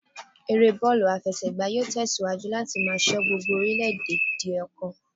Eré bọ́ọ̀lù àfẹsẹ̀gbá yóò tẹ̀ síwájú láti máa sọ gbogbo orile-ede di ọ̀kan